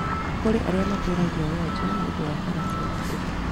Kũrĩ arĩa matũragia wonje nĩũndũ wa mbara cia ũteti